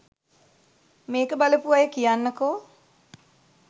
මේක බලපු අය කියන්නකෝ